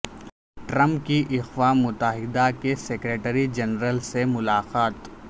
Trump کی اقوام متحدہ کے سیکرٹری جنرل سے ملاقات